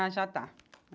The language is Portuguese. Ah, já está.